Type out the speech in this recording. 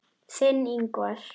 Þinn, Ingvar.